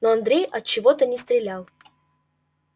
но андрей отчего-то не стрелял